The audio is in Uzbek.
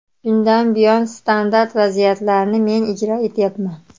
Shundan buyon standart vaziyatlarni men ijro etyapman.